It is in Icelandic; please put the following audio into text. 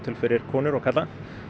fyrir konur og karla